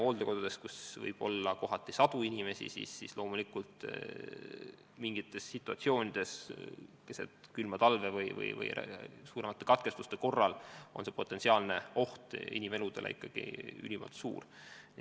Hooldekodus võib olla sadu inimesi ja loomulikult võib mingites situatsioonides keset külma talve, näiteks suuremate elektrikatkestuste ajal, oht inimeludele ülimalt suur olla.